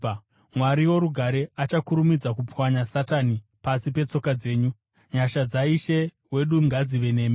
Mwari worugare achakurumidza kupwanya Satani pasi petsoka dzenyu. Nyasha dzaIshe wedu Jesu ngadzive nemi.